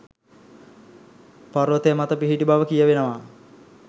පර්වතය මත පිහිටි බව කියවෙනවා.